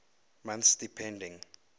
months depending